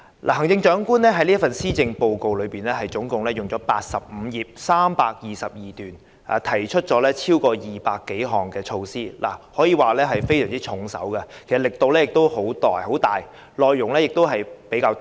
行政長官的這份施政報告篇幅長達85頁，共有322段，當中提出了超過200項措施，可謂非常重手，力度十分大，內容亦比較多。